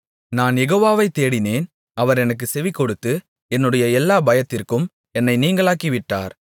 நான் யெகோவாவை தேடினேன் அவர் எனக்குச் செவிகொடுத்து என்னுடைய எல்லாப் பயத்திற்கும் என்னை நீங்கலாக்கிவிட்டார்